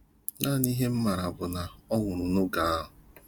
Naanị ihe m maara bụ na ọ nwụrụ n’ogu ahụ